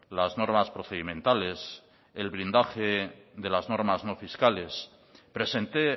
las normas procedimentales el blindaje de las normas no fiscales presenté